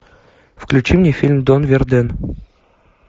включи мне фильм дон верден